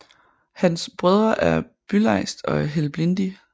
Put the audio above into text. Hans Brødre er Bylejst og Helblindi